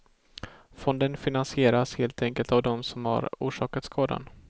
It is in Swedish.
Fonden finansieras helt enkelt av dem som har orsakat skadan.